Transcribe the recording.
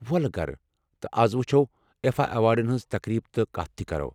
ولہٕ گرٕ تہٕ أسۍ وُچھو آیفا ایوارڈن ہنز تقریب تہٕ کتھ تہِ کرو ۔